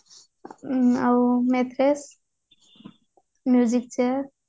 ହୁଁ ଆଉ matches chair